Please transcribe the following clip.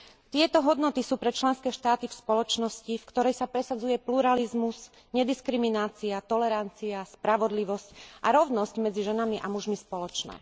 Tieto hodnoty sú pre členské štáty v spoločnosti, v ktorej sa presadzuje pluralizmus, nediskriminácia, tolerancia, spravodlivosť a rovnosť medzi ženami a mužmi, spoločné.